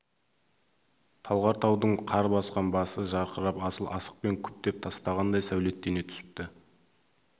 талғар таудың қар басқан басы жарқырап асыл ақықпен күптеп тастағандай сәулеттене түсіпті